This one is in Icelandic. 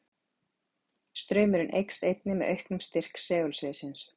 Straumurinn eykst einnig með auknum styrk segulsviðsins.